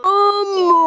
Mér er ekið af þér.